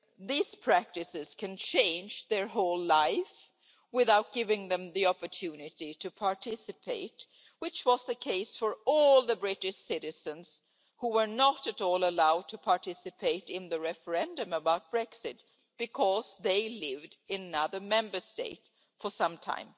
These practices can change their whole lives without giving them the opportunity to participate, which was the case for all the British citizens who were not allowed to participate in the referendum about Brexit because they had lived in another Member State for some time.